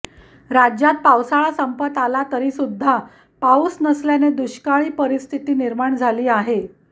राज्यात पावसाळा संपत आला तरीसुद्धा पाऊस नसल्याने दुष्काळी परिस्थिती निर्माण झाली आहे